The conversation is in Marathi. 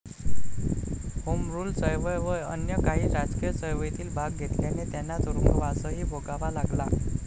होमरूल चळवळ व अन्य काही राजकीय चळवळीत भाग घेतल्याने त्यांना तुरुंगवासही भोगावा लागला.